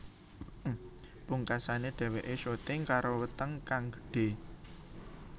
Pungkasané dheweké syuting karo weteng kang gedhe